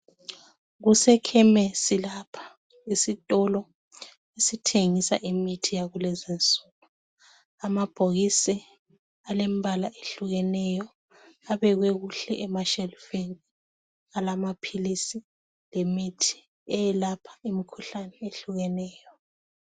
Kusekhemesi lapha, isitolo esithengisa imithi yakulezinsuku. Amabhokisi alembala ehlukeneyo abekwe kuhle emashelufini alamaphilisi lemitji eyelapha imikhuhlane ehlukeneyo.